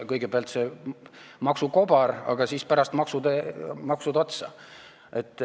Kõigepealt see maksukobar, aga siis pärast maksud otsa.